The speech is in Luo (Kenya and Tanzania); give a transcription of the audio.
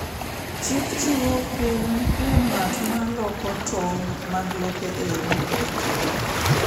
Chik chiwo kum kuom ng’at ma loko tong’ mag lope e yo ma ok owinjore.